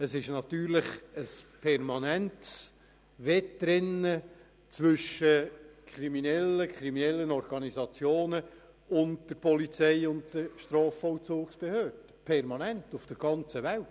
Es findet ein permanentes Wettrennen zwischen Kriminellen beziehungsweise kriminellen Organisationen und den Strafverfolgungsbehörden statt – permanent, weltweit!